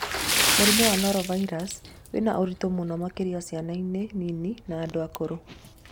Mũrimũ wa Norovirus wĩna ũritũ mũno makĩrianĩ ciana nini na andũ akũrũ.